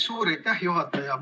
Suur aitäh, juhataja!